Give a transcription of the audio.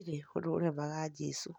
Gũtirĩ ũndũ ũremaga Jesu